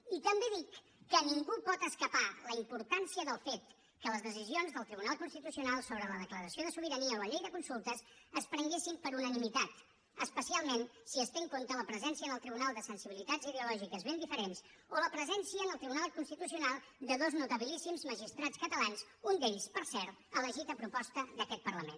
i també dic que ningú pot escapar de la importància del fet que les decisions del tribunal constitucional sobre la declaració de sobirania o la llei de consultes es prenguessin per unanimitat especialment si es té en compte la presència en el tribunal de sensibilitats ideològiques ben diferents o la presència en el tribunal constitucional de dos notabilíssims magistrats catalans un d’ells per cert elegit a proposta d’aquest parlament